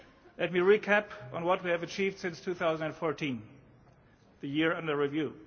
Let me recap on what we have achieved since 2014, the year under review.